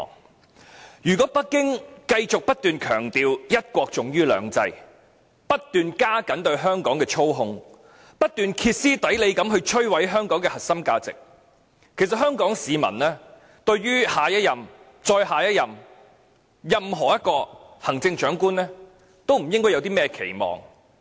但是，如果北京繼續不斷強調一國重於兩制，不斷加強對香港的操控，不斷歇斯底里地摧毀香港的核心價值，其實香港市民對下一任及任何一任的行政長官，都不應抱有任何期望。